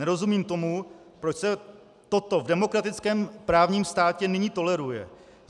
Nerozumím tomu, proč se toto de demokratickém právním státě nyní toleruje.